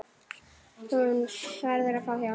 Hún verður að fá hjálp.